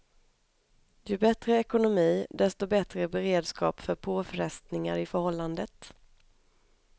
Ju bättre ekonomi, desto bättre beredskap för påfrestningar i förhållandet.